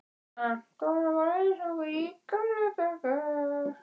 Anton, varð eins og í gamla daga.